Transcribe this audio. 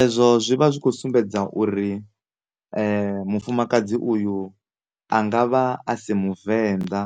Ezwo zwi vha zwi vha zwi kho sumbedza uri mufumakadzi uyu angavha a si muvenḓa